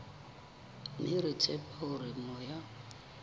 mme re tshepa hore moya